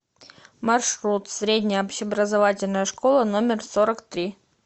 маршрут средняя общеобразовательная школа номер сорок три